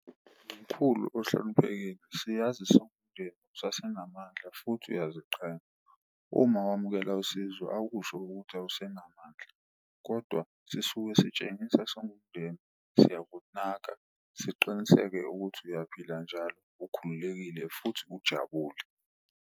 Mkhulu ohloniphekile siyazi siwumndeni usase namandla futhi uma wamukela usizo akusho ukuthi awusenamandla. Kodwa sisuke sitshengisa singumndeni siyakunaka siqiniseke ukuthi uyaphila njalo, ukhululekile futhi ujabule.